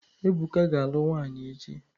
Ebụka ga-alụ nwaanyị echi.